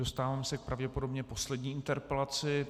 Dostávám se pravděpodobně k poslední interpelaci.